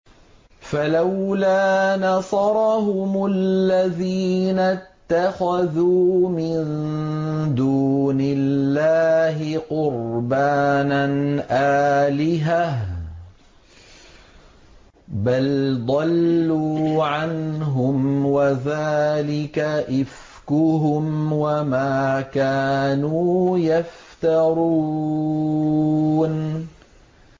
فَلَوْلَا نَصَرَهُمُ الَّذِينَ اتَّخَذُوا مِن دُونِ اللَّهِ قُرْبَانًا آلِهَةً ۖ بَلْ ضَلُّوا عَنْهُمْ ۚ وَذَٰلِكَ إِفْكُهُمْ وَمَا كَانُوا يَفْتَرُونَ